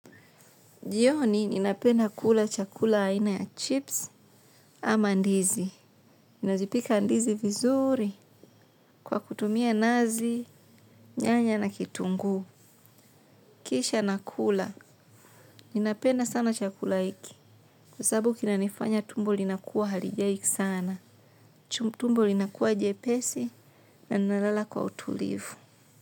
Jioni ninapenda kula chakula aina ya chips ama ndizi. Ninazipika ndizi vizuri kwa kutumia nazi, nyanya na kitunguu. Kisha nakula. Ninapenda sana chakula hiki. Kwa sababu kinanifanya tumbo linakuwa halijai sana. Tumbo linakuwa jepesi na ninalala kwa utulivu.